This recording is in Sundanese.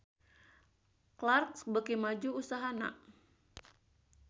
Clarks beuki maju usahana